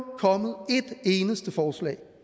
kommet et eneste forslag